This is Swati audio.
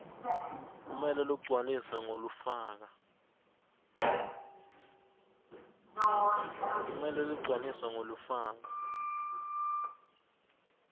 kumele ligcwaliswe ngulofaka